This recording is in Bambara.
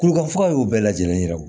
Kulukofuga y'o bɛɛ lajɛlen yira